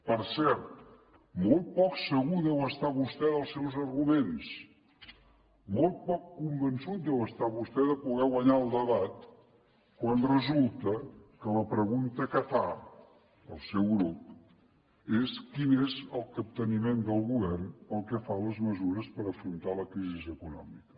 per cert molt poc segur deu estar vostè dels seus arguments molt poc convençut deu estar vostè de poder guanyar el debat quan resulta que la pregunta que fa el seu grup és quin és el capteniment del govern pel que fa a les mesures per afrontar la crisi econòmica